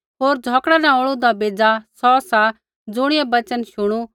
होर झ़ौकड़ा न औल़ूदा बेज़ा सौ सा ज़ुणियै वचन शुणू